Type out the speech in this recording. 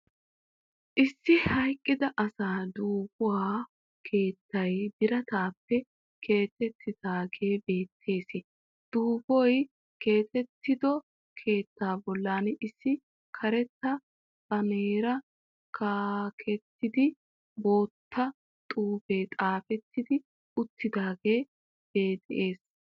Issi hayqqid asa duufuwaa keettay birattaappe keexxettidaagee beettees. Duufoy keexxettido keettaa bollan issi karetta baaneree kaqettidi bootta xuufee xafetti uttidaagee de'ees.